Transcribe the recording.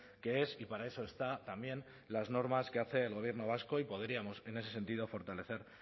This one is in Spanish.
que es y para eso está también las normas que hace el gobierno vasco y podríamos en ese sentido fortalecer